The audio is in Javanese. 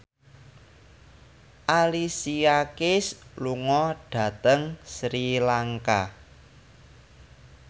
Alicia Keys lunga dhateng Sri Lanka